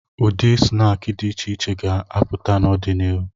Ụdị snaakị dị iche iche ga-apụta n'ọdịnihu.